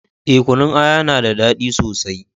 Eh, Kunun aya ya na da dadi sosai